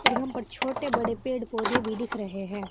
यहां पे छोटे बड़े पेड़ पौधे भी दिख रहे हैं।